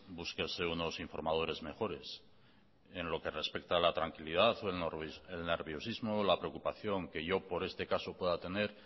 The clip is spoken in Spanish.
búsquese unos informadores mejores en lo que respecta a la tranquilidad o el nerviosismo o la preocupación que yo por este caso pueda tener